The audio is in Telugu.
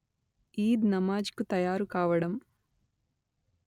ఈద్ నమాజ్ కు తయారు కావడం